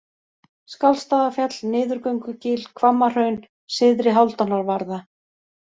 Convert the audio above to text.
Skáldstaðafjall, Niðurgöngugil, Hvammahraun, Syðri-Hálfdánarvarða